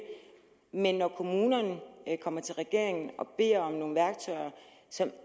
men når kommunerne kommer til regeringen og beder om nogle værktøjer som